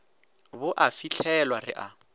bo a fihlelwa re a